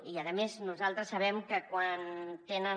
i a més nosaltres sabem que quan tenen